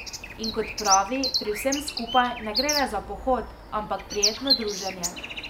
In kot pravi, pri vsem skupaj ne gre le za pohod, ampak prijetno druženje.